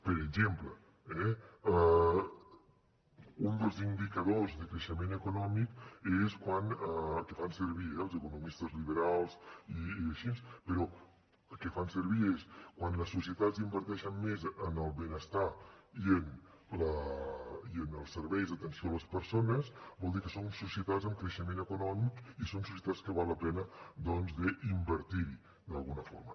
per exemple un dels indicadors de creixement econòmic que fan servir els economistes liberals i així és quan les societats inverteixen més en el benestar i en els serveis d’atenció a les persones vol dir que són societats amb creixement econòmic i són societats que val la pena doncs d’invertir hi d’alguna forma